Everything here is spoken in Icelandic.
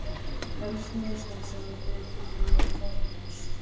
Helstu mistök sem við þurfum að forðast